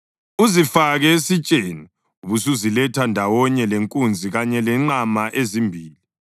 Uzifake esitsheni ubusuziletha ndawonye lenkunzi kanye lenqama ezimbili.